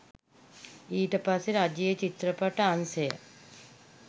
ඊට පස්සේ රජයේ චිත්‍රපට අංශය